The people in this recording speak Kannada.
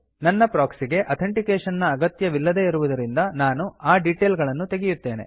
ನನ್ನ ಪ್ರೊಕ್ಸಿ ಗೆ ಅಥೆಂಟಿಕೇಶನ್ ನ ಅಗತ್ಯವಿಲ್ಲದೇ ಇರುವುದರಿಂದ ನಾನು ಆ ಡೀಟೇಲ್ ಗಳನ್ನು ತೆಗೆಯುತ್ತೇನೆ